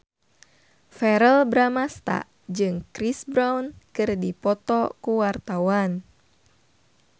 Verrell Bramastra jeung Chris Brown keur dipoto ku wartawan